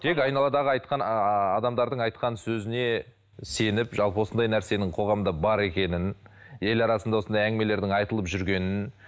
тек айналадағы айтқан ыыы адамдардың айтқан сөзіне сеніп жалпы осындай нәрсенің қоғамда бар екенін ел арасында осындай әңгімелердің айтылып жүргенін